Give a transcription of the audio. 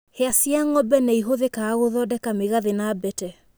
Hĩa cĩa ng'ombe nĩ ihũthĩkaga gũthondeka mĩgathĩ na mbete.